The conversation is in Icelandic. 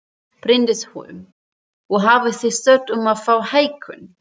Bryndís Hólm: Og hafið þið sótt um að fá hækkun?